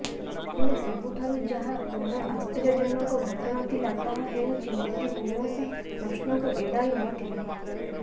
ହେଲେ ସବୁଠାରୁ ଯାହା ବଡ଼ ଆଶ୍ଚର୍ଯ୍ୟଜନକ ଘଟଣା ଥିଲା ତାହା ହେଉଛି ମୋଦି କୌଣସି ପ୍ରଶ୍ନକୁ ଏଡାଇ ନଥିଲେ